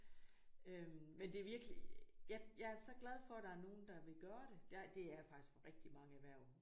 Øh men det er virkelig jeg jeg er så glad for der er nogen der vil gøre det der det er jeg faktisk med rigtig mange erhverv